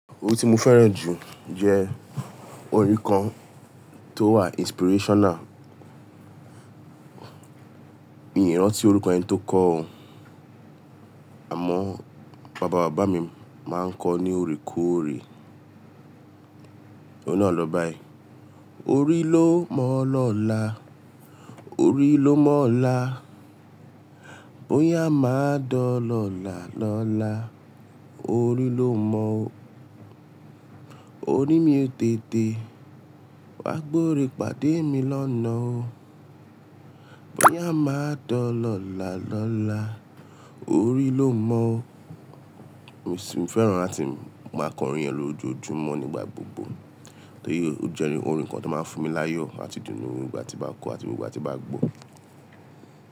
Orin tí mo fẹ́ràn jù jẹ́ orin kan tó wà inspirational. Mi ò rántí orúkọ ẹni tó kọ ó, àmọ́ bàbá bàbá mi máa ń kọ ọ́ ní oorekoore. Òun náà lọ báyi: Orí ló mọ ọ́ lọ̀la, orí ló mọ ọla. Bóyá máa dọ́ lọ̀là lọ́la, orí ló mọ ó. Orí mi tètè, wá gbore pàdé mi lọ́nà o. Bóyá máa dọ́ lọ̀là lọ́la, orí ló mọ ó. Mó sí ń fẹ́ràn láti máa kọrin yen lójoojúmọ́ nígbà gbogbo. Torí ó jẹ orin kan tó máa ń fún mi láyọ̀ àti idunnú nígbà tí bá kọ ọ́ àti gbogbo ìgbà tí bá gbọ́ ọ́.